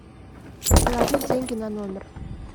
положить деньги на номер